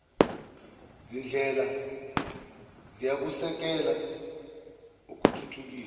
zindlela ziyakusekela ukuthuthukiswa